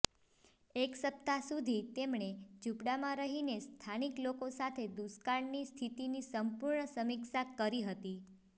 એક સપ્તાહ સુધી તેમણે ઝૂંપડામાં રહીને સ્થાનિક લોકો સાથે દુષ્કાળની સ્થિતિની સંપૂર્ણ સમીક્ષા કરી હતી